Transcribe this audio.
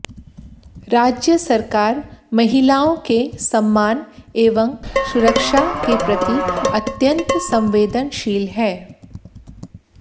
राज्य सरकार महिलाओं के सम्मान एवं सुरक्षा के प्रति अत्यन्त संवेदनशील है